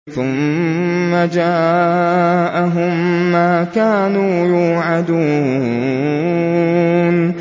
ثُمَّ جَاءَهُم مَّا كَانُوا يُوعَدُونَ